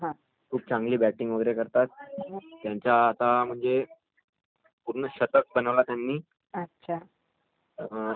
खूप चांगला पफॉर्मस आहे, आणखी म्हणजे एकदिवशी खेळाचे कॅप्टन नाही का भारताचे